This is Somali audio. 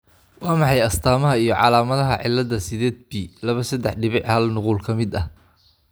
Waa maxay astamaha iyo calaamadaha cilada sided p laba sedex dibic hal nuqul ka mid ah ?